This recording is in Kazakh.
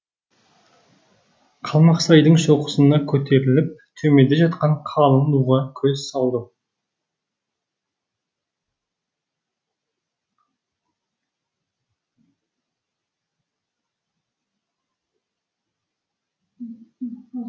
қалмақсайдың шоқысына көтеріліп төменде жатқан қалың нуға көз салдым